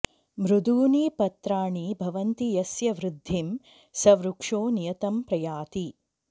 मृदूनि पत्राणि भवन्ति यस्य वृद्धिं स वृक्षो नियतं प्रयाति